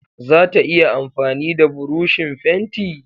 Zata iya amfani da burushin fenti?